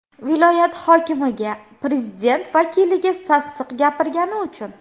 Viloyat hokimiga, prezident vakiliga sassiq gapirgani uchun.